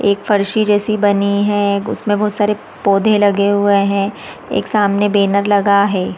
एक फर्शी जैसी बनी है उसमे बहोत सारे पौधे लगे हुए है एक सामने बैनर लगा है।